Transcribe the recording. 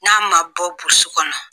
N'a ma bɔ kɔnɔ